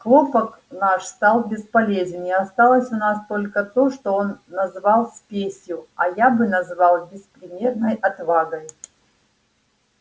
хлопок наш стал бесполезен и осталось у нас только то что он назвал спесью а я бы назвал беспримерной отвагой